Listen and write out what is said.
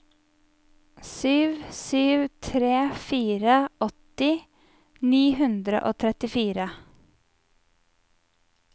sju sju tre fire åtti ni hundre og trettifire